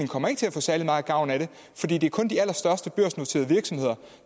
kommer til at få særlig meget gavn af det fordi det kun er de allerstørste børsnoterede virksomheder